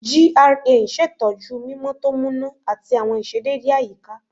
GRA n ṣetọju mimọ to muna ati awọn iṣedede ayika